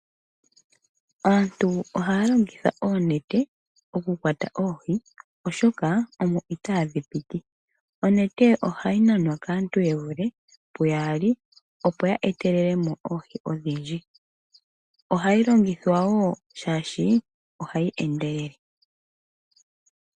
Aantu ohya ya longitha oonete oku kwata oohi oshoka omo itadhi piti. Onete ohayi nanwa kaantu yevule puyaali opo yetelelemo oohi odhindji. Ohayi longithwa wo shashi ohayi endelele.